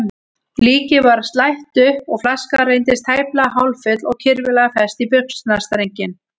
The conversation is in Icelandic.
Líkið var slætt upp og flaskan reyndist tæplega hálffull og kirfilega fest í buxnastrenginn.